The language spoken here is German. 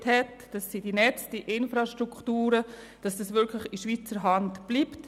Hier geht darum, dass die Netze und Infrastrukturen wirklich in Schweizer Hand bleiben.